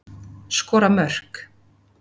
Skora mörk.